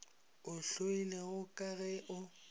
o hloilego ka ge o